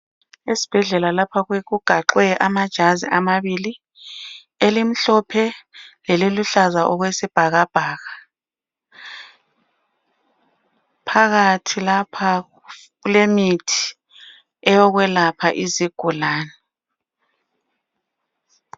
Esibhedlela lapha kugaxwe amajazi amabili, elimhlophe leliluhlaza okwesibhakabhaka. Phakathi lapha kulemithi eyokwelapha izigulane.